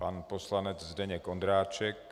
Pan poslanec Zdeněk Ondráček.